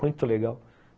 Muito legal.